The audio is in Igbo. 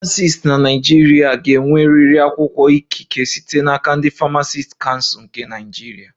Famacisti na Naịjirịa ga-enwerịrị akwụkwọ ikike site n'aka ndị Famacisti Kansul nke Naịjirịa